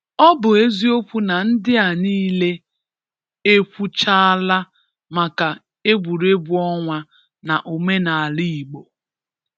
O bụ eziokwu na ndị a niile ekwuchaala maka egwuregwu ọnwa na omenala Igbo